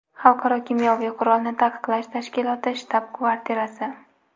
Xalqaro kimyoviy qurolni taqiqlash tashkiloti shtab-kvartirasi.